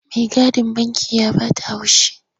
Maigadin banki ya ba ta haushi.